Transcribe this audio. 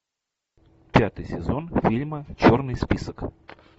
пятый сезон фильма черный список